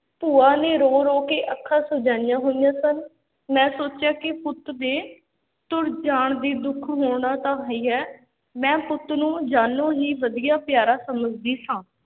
ਭੂਆ ਨੇ ਰੋ-ਰੋ ਕੇ ਅੱਖਾਂ ਸੁਜਾਈਆਂ ਹੋਈਆਂ ਸਨ, ਮੈਂ ਸੋਚਿਆ ਕਿ ਪੁੱਤ ਦੇ ਤੁਰ ਜਾਣ ਦੀ ਦੁੱਖ ਹੋਣਾ ਤਾਂ ਹੀ ਹੈ, ਮੈਂ ਪੁੱਤ ਨੂੰ ਜਾਨੋਂ ਹੀ ਵਧੀਆ ਪਿਆਰਾ ਸਮਝਦੀ ਸਾਂ।